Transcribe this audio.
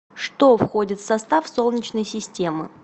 что входит в состав солнечной системы